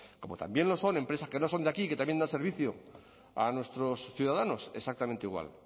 como también lo son empresas que no son de aquí y que también dan servicio a nuestros ciudadanos exactamente igual